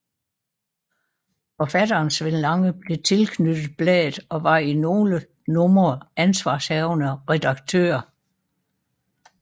Forfatteren Sven Lange blev tilknyttet bladet og var i nogle numre ansvarshavende redaktør